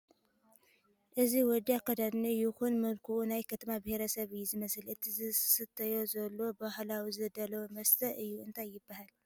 እዚ ወዲ ኣከዳድንኡ ይኹን መልክኡ ናይ ኩናማ ብሄረሰብ እዩ ዝመስል እቲ ዝሰትዮ ዘሎ ብባህለዊ ዝዳለው መስተ እዩ እንታይ ይበሃል ?